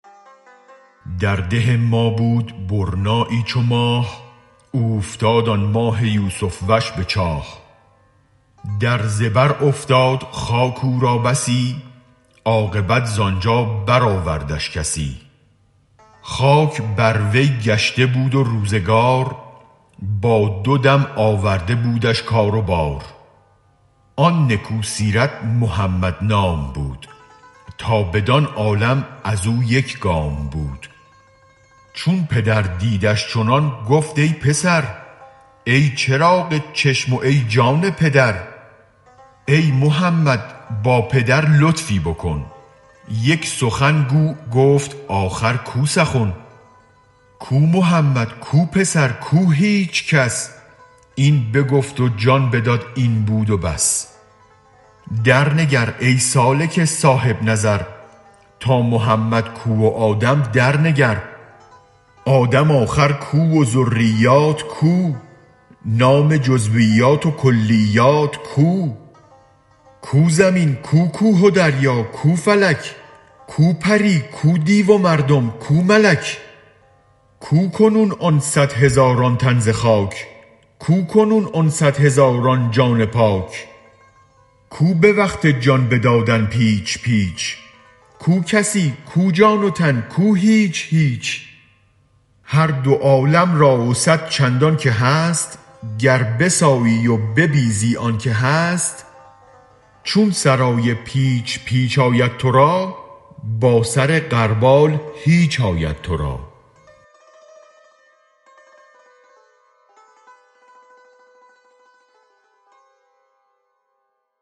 در ده ما بود برنایی چو ماه اوفتاد آن ماه یوسف وش به چاه در زبر افتاد خاک او را بسی عاقبت ز آنجا بر آوردش کسی خاک بر وی گشته بود و روزگار با دو دم آورده بودش کار و بار آن نکو سیرت محمد نام بود تا بدان عالم ازو یک گام بود چون پدر دیدش چنان گفت ای پسر ای چراغ چشم وای جان پدر ای محمد با پدر لطفی بکن یک سخن گو گفت آخر کو سخن کو محمد کو پسر کو هیچ کس این بگفت و جان بداد این بود و بس درنگر ای سالک صاحب نظر تا محمد کو و آدم درنگر آدم آخر کو و ذریات کو نام جزویات و کلیات کو کو زمین کو کوه و دریا کو فلک کو پری کو دیو و مردم کو ملک کو کنون آن صد هزاران تن زخاک کو کنون آن صد هزاران جان پاک کو به وقت جان بدادن پیچ پیچ کو کسی کو جان و تن کو هیچ هیچ هر دو عالم را و صد چندان که هست گر بسایی و ببیزی آنک هست چون سرای پیچ پیچ آید ترا با سر غربال هیچ آید ترا